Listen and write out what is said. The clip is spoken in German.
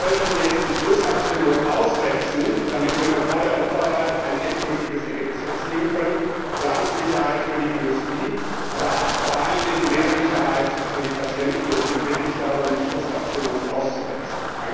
Und wir sollten jetzt die Schlussabstimmung aussetzen, damit wir noch vor der Europawahl ein endgültiges Ergebnis erzielen können, um Planungssicherheit für die Industrie, aber vor allen Dingen mehr Sicherheit für die Patienten zu erreichen. Deswegen bitte ich darum, die Schlussabstimmung auszusetzen.